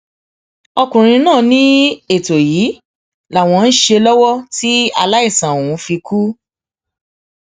ọkùnrin náà ní ètò yìí làwọn ń ṣe lọwọ tí aláìsàn ọhún fi kú